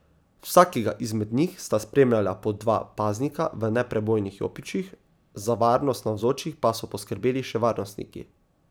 Vsakega izmed njih sta spremljala po dva paznika v neprebojnih jopičih, za varnost navzočih so poskrbeli še varnostniki.